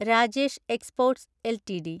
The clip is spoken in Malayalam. Rajesh Exports LTD